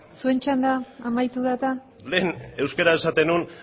zuen txanda amaitu da eta hemen euskaraz esaten nuen